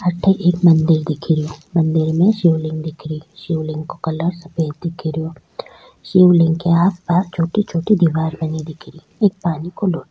अठ एक मंदिर दिख रो मंदिर में एक शिव लिंग दिख री शिव लिंग का कलर सफ़ेद दिख रो शिव लिंग के आस पास छोटे छोटे दीवार बनी दिख री एक पानी को लोटो --